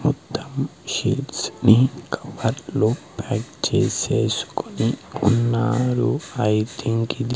మొత్తం షీట్స్ ని కవర్లో ప్యాక్ చేసేసుకొని ఉన్నారు ఐ థింక్ ఇది--